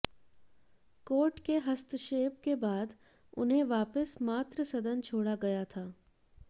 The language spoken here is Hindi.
कोर्ट के हस्तक्षेप के बाद उन्हें वापस मातृसदन छोड़ा गया था